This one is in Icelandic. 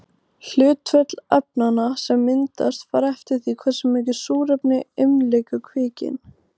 Hlutföll efnanna sem myndast fara eftir því hversu mikið súrefni umlykur kveikinn.